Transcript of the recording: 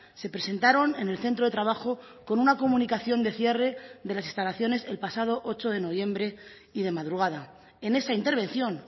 se presentaron en el centro de trabajo con una comunicación de cierre de las instalaciones el pasado ocho de noviembre y de madrugada en esa intervención